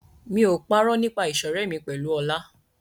Mi ò parọ́ nípa ìṣọ̀rẹ́ mi pẹ̀lú Ọlá.